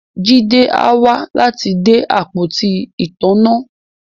Jide á wá láti de àpótí ìtanná